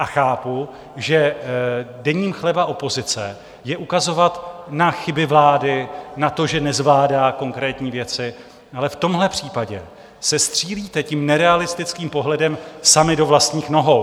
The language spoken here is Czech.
A chápu, že denní chleba opozice je ukazovat na chyby vlády, na to, že nezvládá konkrétní věci, ale v tomhle případě se střílíte tím nerealistickým pohledem sami do vlastních nohou.